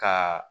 Ka